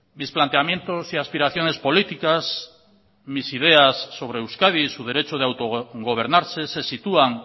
mis planteamientos y aspiraciones políticas mis ideas sobre euskadi y su derecho de autogobernarse se sitúan